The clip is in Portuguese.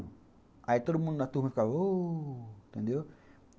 Aí todo mundo na turma ficava, oh, entendeu?